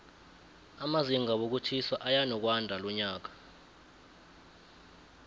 amazinga wokutjhisa eyanokwandalonyaka